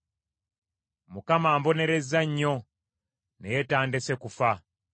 Mukama ambonerezza nnyo, naye tandese kufa.